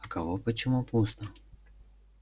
а кого почему пусто